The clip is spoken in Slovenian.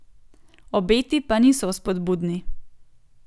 Obeti pa niso vzpodbudni.